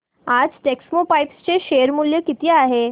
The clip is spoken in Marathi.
आज टेक्स्मोपाइप्स चे शेअर मूल्य किती आहे